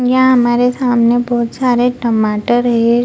यहां हमारे सामने बहुत सारे टमाटर हे।